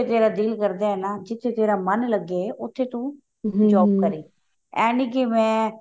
ਜਿੱਥੇ ਤੇਰਾ ਦਿਲ ਕਰਦਾ ਹੈ ਨਾ ਜਿੱਥੇ ਮਨ ਲੱਗੇ ਉੱਥੇ ਤੂੰ ਏਂ ਨੀ ਜਿਵੇਂ